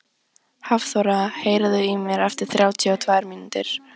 Hafþóra, heyrðu í mér eftir þrjátíu og tvær mínútur.